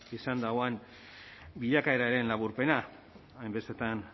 izan duen bilakaeraren laburpena hainbestetan